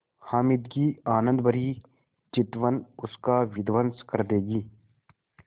हामिद की आनंदभरी चितवन उसका विध्वंस कर देगी